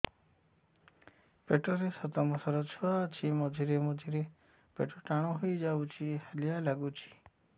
ପେଟ ରେ ସାତମାସର ଛୁଆ ଅଛି ମଝିରେ ମଝିରେ ପେଟ ଟାଣ ହେଇଯାଉଚି ହାଲିଆ ଲାଗୁଚି